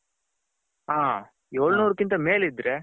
ಹ ಎಲ್ನೂರು ಗಿಂತ ಮೇಲೆ ಇದ್ರೆ.